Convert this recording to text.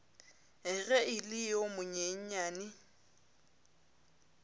ge e le yo monyenyane